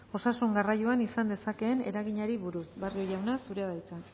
osasun garraioan izan dezakeen eraginari buruz barrio jauna zurea da hitza